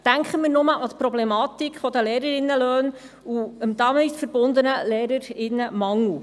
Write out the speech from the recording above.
Denken wir nur an die Problematik der Lehrerinnenlöhne und dem damit verbundenen Lehrerinnen- und Lehrermangel.